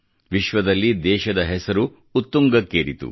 ವಿಶ್ವದಲ್ಲಿ ದೇಶದ ಹೆಸರು ಉತ್ತುಂಗಕ್ಕೇರಿತು